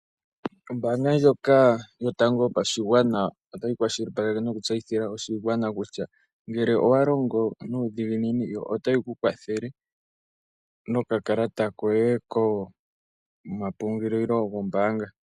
Ombaanga ndjoka yotango yopashigwana otayi kwashilipaleke noku tseyithile oshigwana kutya ngele owalongo nuudhiginini yo otayi kukwathele nokakalata koye komapungulilo gombaanga.